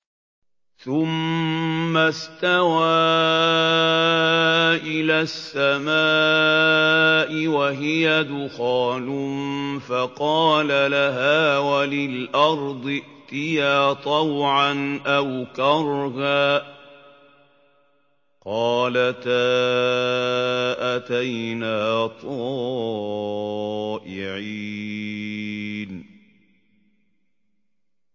ثُمَّ اسْتَوَىٰ إِلَى السَّمَاءِ وَهِيَ دُخَانٌ فَقَالَ لَهَا وَلِلْأَرْضِ ائْتِيَا طَوْعًا أَوْ كَرْهًا قَالَتَا أَتَيْنَا طَائِعِينَ